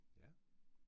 Ja